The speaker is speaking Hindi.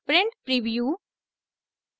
print preview